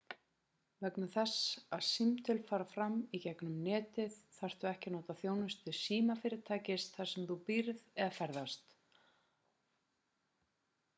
vegna þess að símtöl fara fram í gegnum netið þarftu ekki að nota þjónustu símafyrirtækis þar sem þú býrð eða ferðast